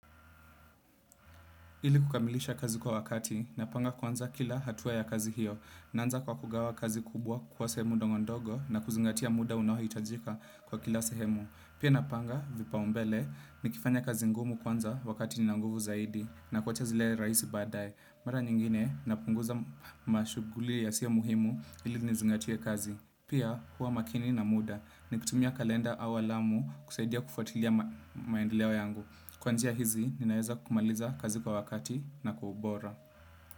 Ili kukamilisha kazi kwa wakati, napanga kuanza kila hatua ya kazi hiyo. Naanza kwa kugawa kazi kubwa kwa sehemu ndongo ndogo na kuzingatia muda unaohitajika kwa kila sehemu. Pia napanga vipaumbele nikifanya kazi ngumu kwanza wakati nina nguvu zaidi na kuacha zile rahisi baadae. Mara nyingine napunguza mashughuli yasiyo muhimu ili nizingatie kazi. Pia hua makini na muda nikitumia kalenda au alamu kusaidia kufuatilia maendeleo yangu. Kwa njia hizi, ninaeza kumaliza kazi kwa wakati na kwa ubora.